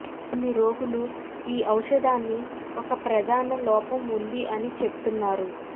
కొన్ని రోగులు ఈ ఔషధాన్ని ఒక ప్రధాన లోపం ఉంది అని చెప్తున్నారు